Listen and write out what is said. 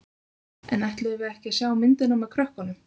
En ætluðum við ekki að sjá myndina með krökkunum?